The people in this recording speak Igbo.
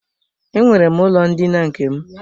Enwere m ụlọ ndina nke m.